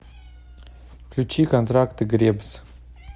включи контракты гребз